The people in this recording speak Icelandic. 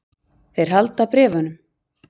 Þeir halda bréfunum.